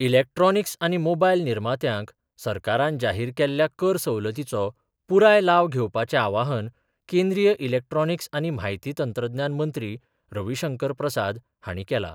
Electronics आनी mobile निर्मार्त्यांक सरकारान जाहीर केल्ल्या कर सवलतीचो पुराय लाव घेवपाचे आवाहन केंद्रीय इलेक्ट्रॉनिक्स आनी म्हायती तंत्रज्ञान मंत्री रवीशंकर प्रसाद हाणी केला.